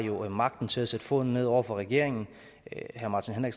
jo har magten til at sætte foden ned over for regeringen herre martin